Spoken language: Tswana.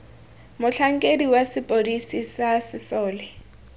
motlhankedi wa sepodisi sa sesole